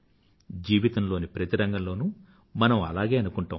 జీవితంలోని ప్రతి రంగంలోనూ మనం అలాగే అనుకుంటాం